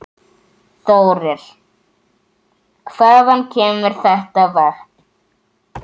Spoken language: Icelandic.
Þórir: Hvaðan kemur þetta vatn?